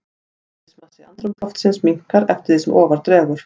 Eðlismassi andrúmsloftsins minnkar eftir því sem ofar dregur.